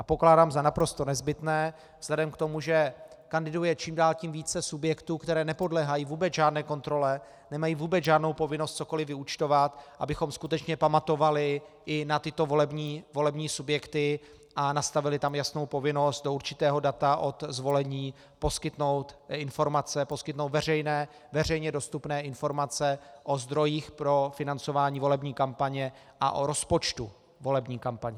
A pokládám za naprosto nezbytné vzhledem k tomu, že kandiduje čím dál tím více subjektů, které nepodléhají vůbec žádné kontrole, nemají vůbec žádnou povinnost cokoliv vyúčtovat, abychom skutečně pamatovali i na tyto volební subjekty a nastavili tam jasnou povinnost do určitého data od zvolení poskytnout informace, poskytnout veřejně dostupné informace o zdrojích pro financování volební kampaně a o rozpočtu volební kampaně.